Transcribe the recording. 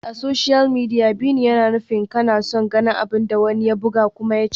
A social media, "bi ni" yana nufin kana son ganin abin da wani ya buga kuma ya ce.